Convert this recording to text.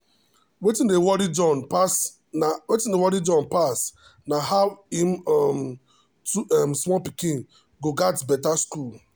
wetin dey worry john pass na how him um two um small pikin go get better school.